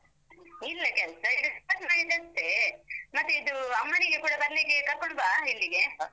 ಇಲ್ಲ ಕೆಲ್ಸ ಎಷ್ಟಾನಾ ಇರತ್ತೇ. ಮತ್ತೇ ಇದೂ, ಅಮ್ಮನಿಗೆ ಕೂಡ ಬರ್ಲಿಕ್ಕೆ ಕರ್ಕೋಂಡ್ ಬಾ ಇಲ್ಲಿಗೆ.